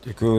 Děkuji.